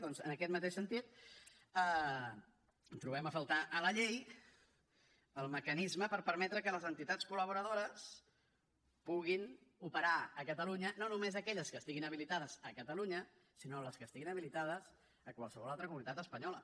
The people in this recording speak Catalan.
doncs en aquest mateix sentit trobem a faltar a la llei el mecanisme per permetre que les entitats col·laboradores puguin operar a catalunya no només aquelles que estiguin habilitades a catalunya sinó les que estiguin habilitades a qualsevol altra comunitat espanyola